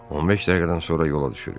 15 dəqiqədən sonra yola düşürük.